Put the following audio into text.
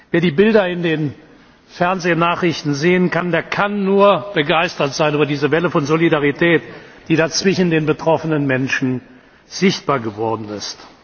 Wer die Bilder in den Fernsehnachrichten sieht, der kann nur begeistert sein über diese Welle von Solidarität, die da zwischen den betroffenen Menschen sichtbar geworden ist.